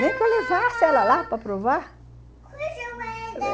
Nem que eu levasse ela lá para provar, uhum...